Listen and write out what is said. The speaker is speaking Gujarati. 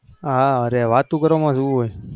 હા અરે વાતો કરવામાં શું હોય?